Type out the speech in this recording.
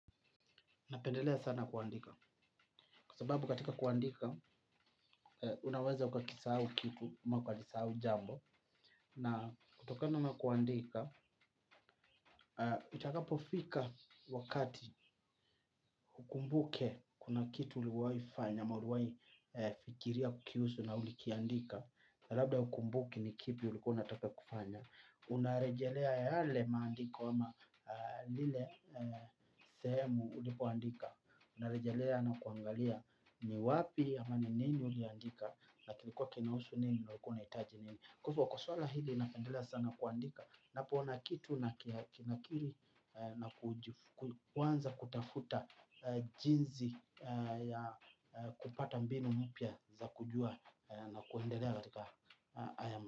Napendelea sana kuandika. Kwa sababu katika kuandika, unaweza ukakisau kitu, ama uka kisau jambo. Na kutokana na kuandika, itakapofika wakati hukumbuke kuna kitu uliwai fanya, ama uliwai fikiria kiusu na ulikiandika. Na labda hukumbuki ni kipi uli kuwa unataka kufanya. Unarejelea yale maandiko ama lile sehemu ulipoandika. Narejalea na kuangalia ni wapi ama ni nini uliandika. Na kilikuwa kinausu nini na ulikua unaitaji nini. Kwa ivo kwa swala hili napendela sana kuandika. Napoona kitu nakinakili na kuanza kutafuta jinzi kupata mbinu mpya za kujua na kuendelea katika haya.